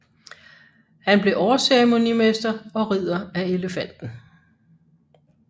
Han blev overceremonimester og Ridder af Elefanten